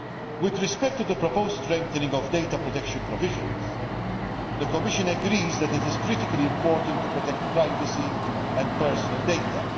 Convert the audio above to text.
With respect to the proposed strengthening of data protection provisions, the Commission agrees that it is critically important to protect privacy and personal data.